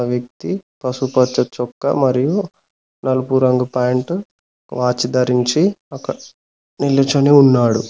వ్యక్తి పశుపచ్చ చొక్క మరియు నలుపు రంగు పాయింటు వాచి దరించి అక్కడ నిల్చొని ఉన్నాడు.